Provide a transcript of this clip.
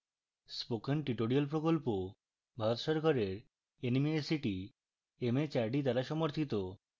spoken tutorial প্রকল্প ভারত সরকারের nmeict mhrd দ্বারা সমর্থিত